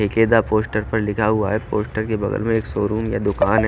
एक पोस्टर पर लिखा हुआ है पोस्टर के बगल में एक शोरूम या दुकान है।